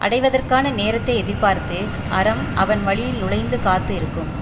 அடைவதற்கான நேரத்தை எதிர்பார்த்து அறம் அவன் வழியில் நுழைந்து காத்து இருக்கும்